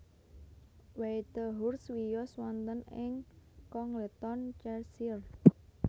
Whitehurst wiyos wonten ing Congleton Cheshire